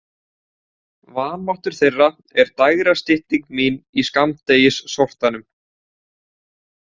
Vanmáttur þeirra er dægrastytting mín í skammdegissortanum.